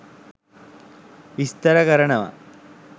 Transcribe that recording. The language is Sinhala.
විස්තර කරනව